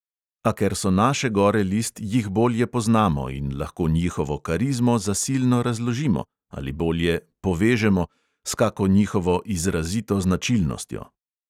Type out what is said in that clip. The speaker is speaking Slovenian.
A ker so naše gore list, jih bolje poznamo in lahko njihovo karizmo zasilno razložimo – ali bolje: povežemo – s kako njihovo izrazito značilnostjo.